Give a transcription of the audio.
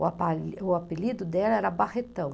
O apelido dela era Barretão.